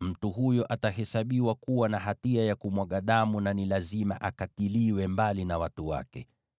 mtu huyo atahesabiwa kuwa na hatia ya kumwaga damu; ni lazima akatiliwe mbali na watu wake.